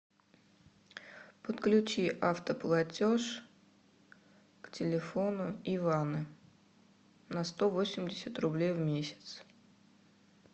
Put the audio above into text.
подключи автоплатеж к телефону ивана на сто восемьдесят рублей в месяц